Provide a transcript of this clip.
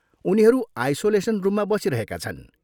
उनीहरू आइसोलेसन रुममा बसिरहेका छन्।